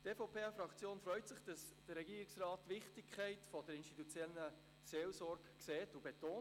Die EVP-Fraktion freut sich, dass der Regierungsrat die Wichtigkeit der institutionellen Seelsorge sieht und betont.